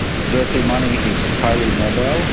Dirty money is highly mobile.